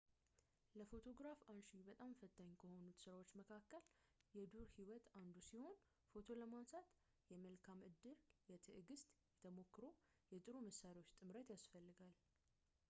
ለፎቶግራፍ አንሺ በጣም ፈታኝ ከሆኑት ስራዎች መካከል የዱር ህይወት አንዱ ሲሆን ፎቶ ለማንሳት የመልካም ዕድል የትዕግሥት የተሞክሮ እና የጥሩ መሣሪያዎች ጥምረት ይፈልጋል